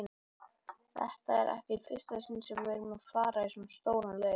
Þetta er ekki í fyrsta sinn sem við erum að fara í stóran leik.